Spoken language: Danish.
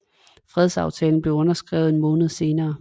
Fredsaftalen blev underskrevet en måned senere